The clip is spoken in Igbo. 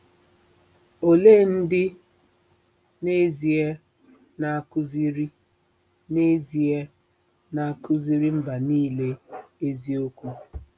Olee ndị n'ezie na-akụziri n'ezie na-akụziri mba nile eziokwu?